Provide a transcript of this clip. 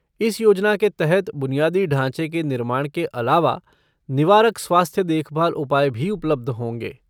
इस योजना के तहत बुनियादी ढाँचे के निर्माण के अलावा निवारक स्वास्थ्य देखभाल उपाय भी उपलब्ध होंगे।